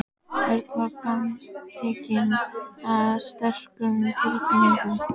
Örn var gagntekinn af sterkum tilfinningum.